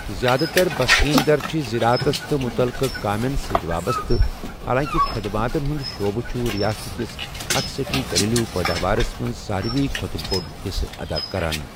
زیادٕ تر بسکیٖن در چھِ زَرٲعتس تہٕ مٗتعلقہٕ كامین سۭتۍ وابسطہٕ ، حالانٛکہِ خدماتن ہُند شعبہٕ چُھ رِیاستٕکِس اٹھ سٹی گھریلو پٲداوارس منٛز سارِوٕیہ کھۄتہٕ بوٚڈ حِصہٕ ادا كران ۔